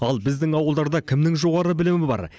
ал біздің ауылдарда кімнің жоғары білімі бар